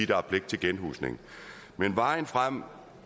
der er pligt til genhusning men vejen frem